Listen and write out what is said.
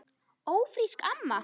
Ófrísk, amma!